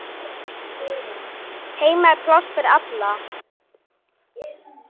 Heima er pláss fyrir alla.